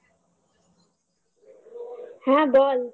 হ্যাঁ বল